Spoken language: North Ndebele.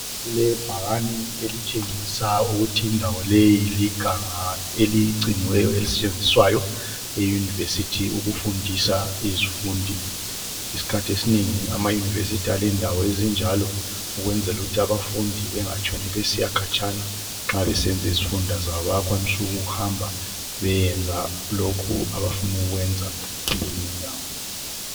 Kulebhakani elitshengisa ukuthi indawo leyi linganga eligciniweyo elisetshenziswayo eyunivesithi ukufundisa izifundi. Isikhathi esinengi amayunivesithi alendawo ezinjalo, ukwenzela ukuthi abafundi bangatshoni besiyakhatshana nxa besenza izifundo zabo. Bayakwanisa ukuhamba beyekwenza lokhu abafuna ukukwenza kulezi indawo.